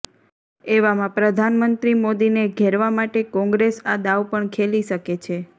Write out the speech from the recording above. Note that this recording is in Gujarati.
એવામાં પ્રધાનમંત્રી મોદીને ઘેરવા માટે કોંગ્રેસ આ દાવ પણ ખેલી શકે છે